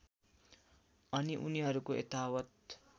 अनि उनीहरूको यथावत्